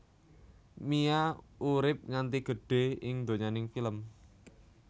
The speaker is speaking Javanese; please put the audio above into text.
Mia urip nganti gedhé ing donyaning film